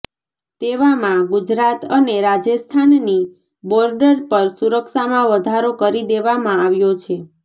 તેવામાં ગુજરાત અને રાજસ્થાનની બોર્ડર પર સુરક્ષામાં વધારો કરી દેવામાં આવ્યો છે